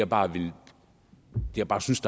bare det jeg bare synes